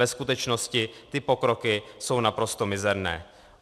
Ve skutečnosti ty pokroky jsou naprosto mizerné.